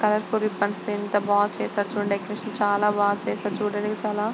Colourful buns తో ఎంత బాగా చేశారో చూడండి. డెకరేషన్ చాలా బాగా చేసాడు.చూడడానికి చాలా--